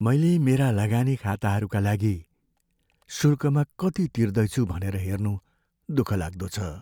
मैले मेरा लगानी खाताहरूका लागि शुल्कमा कति तिर्दैछु भनेर हेर्नु दुःखलाग्दो छ।